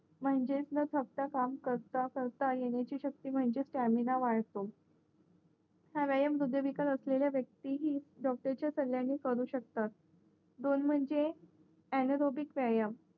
म्हणजेच न थकता काम करता करता येणायची शक्ती म्हणजे स्टॅमिना वाढतो हा व्यायाम हृदयविकार असलेल्या वक्तींनी डॉक्टरच्यासल्यानी करू शकतात